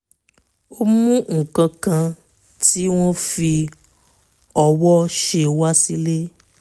ó mú nǹkan kan tí wọ́n fi ọwọ́ ṣe wá sílé